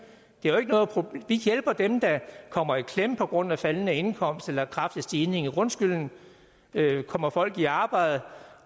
vi hjælper dem der kommer i klemme på grund af faldende indkomst eller kraftig stigning i grundskylden kommer folk i arbejde